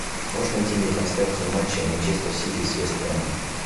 можешь найти мне трансляцию матча манчестер сити с вест хэмом